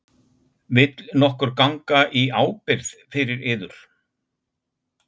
Vill nokkur ganga í ábyrgð fyrir yður?